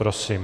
Prosím.